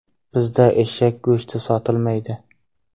Bizda eshak go‘shti sotilmaydi.